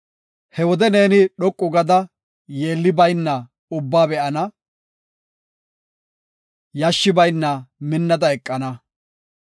He wode neeni dhoqu gada yeelli bayna ubbaba be7an; yashshi bayna minnada eqana.